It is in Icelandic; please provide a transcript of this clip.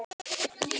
Og henni er nær.